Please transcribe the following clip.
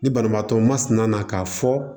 Ni banabaatɔ masina na k'a fɔ